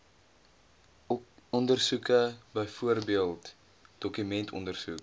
ondersoeke byvoorbeeld dokumentondersoek